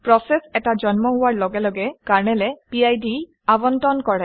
process এটা জন্ম হোৱাৰ লগে লগে কাৰনেলে পিড আৱণ্টন কৰে